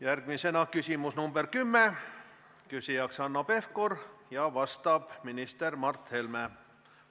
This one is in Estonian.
Järgmisena küsimus nr 10, küsija on Hanno Pevkur ja vastab minister Mart Helme.